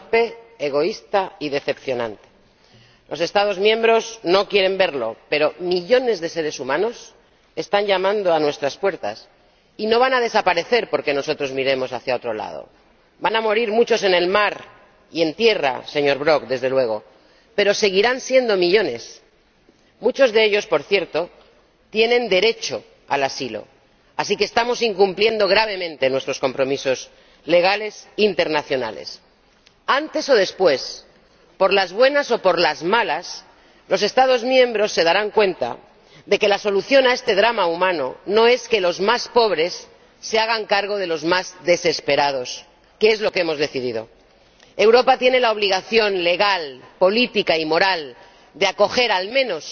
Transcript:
Señor Presidente ante una de las crisis humanitarias más graves desde la Segunda Guerra Mundial, la respuesta del Consejo ha sido torpe, egoísta y decepcionante. Los Estados miembros no quieren verlo, pero millones de seres humanos están llamando a nuestras puertas, y no van a desaparecer porque nosotros miremos hacia otro lado. Van a morir muchos en el mar y en tierra —señor Brok, desde luego—, pero seguirán siendo millones. Muchos de ellos ―por cierto― tienen derecho al asilo, así que estamos incumpliendo gravemente nuestros compromisos legales internacionales. Antes o después, por las buenas o por las malas, los Estados miembros se darán cuenta de que la solución a este drama humano no es que los más pobres se hagan cargo de los más desesperados, que es lo que hemos decidido. Europa tiene la obligación legal, política y moral de acoger, al